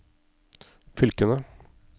fylkene